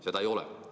Seda ei ole.